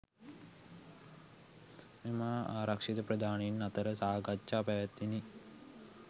මෙම ආරක්ෂිත ප්‍රධානීන් අතර සාකච්ඡා පැවැත්විණි